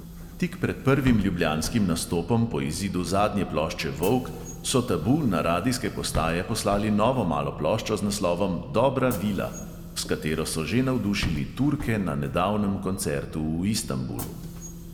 Tik pred prvim ljubljanskim nastopom po izidu zadnje plošče volk so tabu na radijske postaje poslali novo malo ploščo z naslovom dobra vila, s katero so že navdušili turke na nedavnem koncertu v istanbulu.